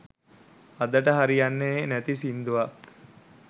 අදට හරියන්නෙ නැති සිංදුවක්